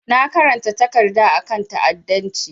Na karanta takarda a kan ta'adancci.